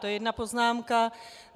To je jedna poznámka.